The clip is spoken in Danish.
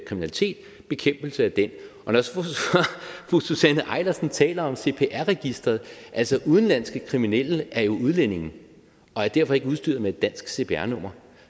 kriminalitet og bekæmpelse af den fru susanne eilersen taler om cpr registeret altså udenlandske kriminelle er jo udlændinge og er derfor ikke udstyret med et dansk cpr nummer